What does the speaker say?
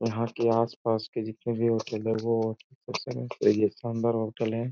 यहाँ के आस पास जितने भी होटल हैं वो शानदार होटल हैं।